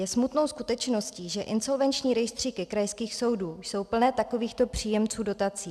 Je smutnou skutečností, že insolvenční rejstříky krajských soudů jsou plné takovýchto příjemců dotací.